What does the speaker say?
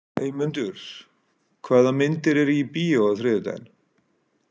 Eymundur, hvaða myndir eru í bíó á þriðjudaginn?